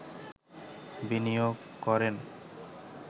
বিনিয়োগ করেন